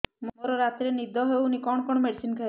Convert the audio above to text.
ମୋର ରାତିରେ ନିଦ ହଉନି କଣ କଣ ମେଡିସିନ ଖାଇବି